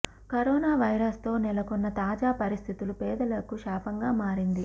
corona virus తో నెలకొన్న తాజా పరిస్థితులు పేదలకు శాపంగా మారింది